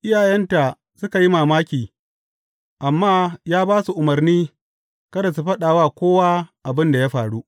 Iyayenta suka yi mamaki, amma ya ba su umarni kada su faɗa wa kowa abin da ya faru.